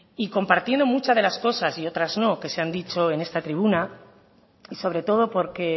y compartiendo muchas de las cosas y otras no que se han dicho en esta tribuna y sobre todo porque